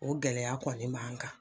O gɛlɛya kɔni b'an kan.